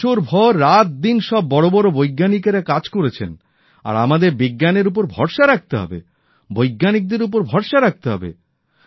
বছরভর রাতদিন সব বড় বড় বৈজ্ঞানিকেরা কাজ করেছেন আর আমাদের বিজ্ঞানের উপর ভরসা রাখতে হবে বৈজ্ঞানিকদের উপর ভরসা রাখতে হবে